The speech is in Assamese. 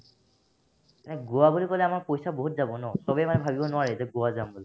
এ গোৱা বুলি ক'লে আমাৰ পইচা বহুত যাব ন চবে ইমান ভাৱিব নোৱাৰে যে গোৱা যাম বুলি